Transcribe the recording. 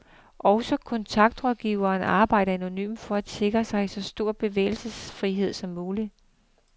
Også kontaktrådgiveren arbejder anonymt for at sikre sig så stor bevægelsesfrihed som muligt.